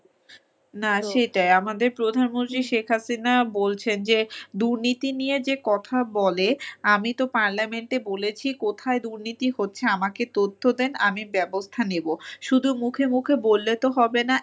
না সেটাই আমাদের প্রধানমন্ত্রী শেখ হাসিনা বলছেন যে দুর্নীতি নিয়ে যে কথা বলে, আমিতো Parliament এ বলেছি কোথায় দুর্নীতি হচ্ছে আমাকে তথ্য দেন আমি ব্যবস্থা নিবো। শুধু মুখে মুখে বললে তো হবে না।